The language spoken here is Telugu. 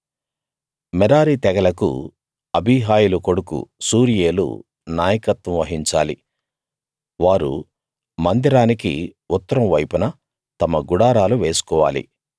మెరారీ తెగలకు అబీహాయిలు కొడుకు సూరీయేలు నాయకత్వం వహించాలి వారు మందిరానికి ఉత్తరం వైపున తమ గుడారాలు వేసుకోవాలి